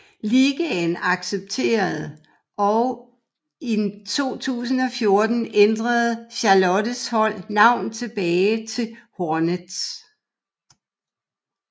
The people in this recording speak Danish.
Ligaen accepterede og i 2014 ændrede Charlottes hold navn tilbage til Hornets